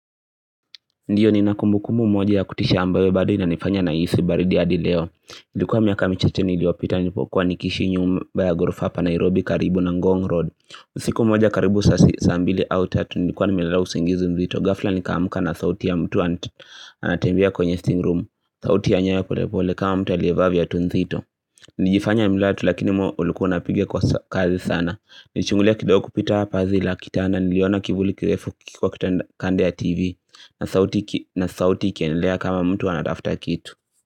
Ndio ninakumbukumbu moja ya kutisha ambaye bado inanifanya nahisi baridi hadi leo. Ilikuwa miaka michache niliopita nilipokuwa nikiishi nyumba ya ghorofa hapa Nairobi karibu na Ngong Road. Usiku moja karibu saa mbili au tatu nilikuwa nimelala usingizi nzito ghafla nikaamka na sauti ya mtu anatembea kwenye sitting room sauti ya nyayo pole pole kama mtu aliyevaa viatu nzito Nilijifanya nimelala tu lakini moyo ulikuwa unapigia kwa kasi sana. Nilichungulia kidogo kupita pazi la kitanda niliona kivuli kirefu kikiwa kando ya tv na sauti iki na sauti ikiendelea kama mtu anatafuta kitu.